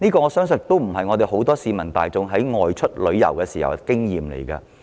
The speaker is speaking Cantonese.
我相信這並非市民大眾外出旅遊時所得的印象。